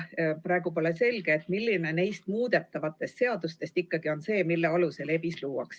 Praegu pole selge, milline neist muudetavatest seadustest ikkagi on see, mille alusel ABIS luuakse.